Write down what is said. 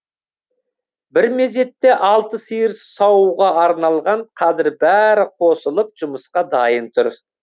бір мезетте алты сиыр саууға арналған қазір бәрі қосылып жұмысқа дайын тұр